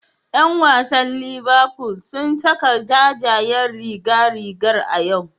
Yan wasan Liverful sun saka jajayen rigar rigar a yau.